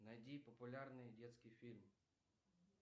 найди популярные детские фильмы